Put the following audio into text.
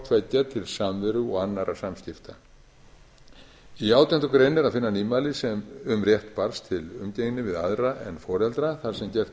taki hvorttveggja til samveru og annarra samskipta í átjándu grein er að finna nýmæli um rétt barns til umgengni við aðra en foreldra þar sem gert er